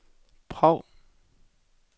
Prag